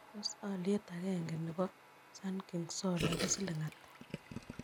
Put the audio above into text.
Tos' alyet agenge ne po sunking solar kosiling ata